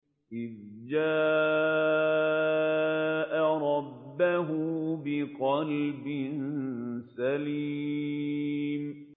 إِذْ جَاءَ رَبَّهُ بِقَلْبٍ سَلِيمٍ